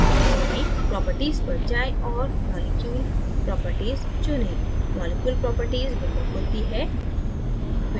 properties पर जाएँ और molecule properties चुनें